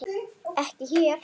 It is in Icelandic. Ekki hér.